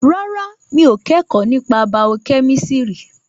Rárá, mi ò kẹ́kọ̀ọ́ nípa bàọ́ kẹ́mísìrì